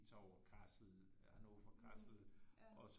Tager over Kassel Hannover fra Kassel og